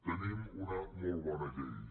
tenim una molt bona llei